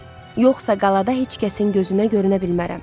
Yoxsa qalada heç kəsin gözünə görünə bilmərəm.